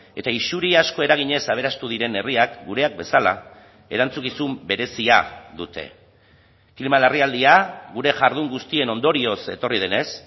eta isuri asko eraginez aberastu diren herriak gureak bezala erantzukizun berezia dute klima larrialdia gure jardun guztien ondorioz etorri denez